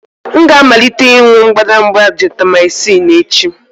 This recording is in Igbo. M ga-amalite ịṅụ mbadamba Gentamycin echi.